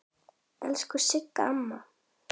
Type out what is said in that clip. Elsku Sigga amma.